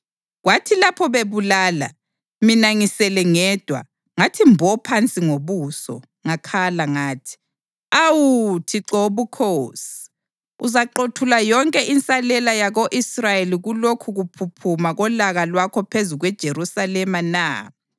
Kwathi lapho bebulala, mina ngisele ngedwa, ngathi mbo phansi ngobuso, ngakhala ngathi, “Awu Thixo Wobukhosi! Uzaqothula yonke insalela yako-Israyeli kulokhu kuphuphuma kolaka lwakho phezu kweJerusalema na?”